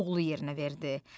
oğlu yerinə verdi.